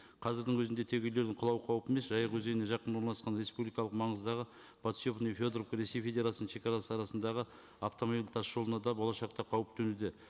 қазірдің өзінде тек үйлердің құлау қаупі емес жайық өзеніне жақын орналасқан республикалық маңыздағы подшипный федоровка ресей федерациясының шегарасы арасындағы автомобильдік тас жолына да болашақта қауіп төнуде